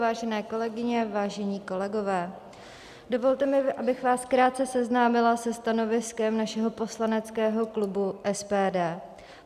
Vážené kolegyně, vážení kolegové, dovolte mi, abych vás krátce seznámila se stanoviskem našeho poslaneckého klubu SPD.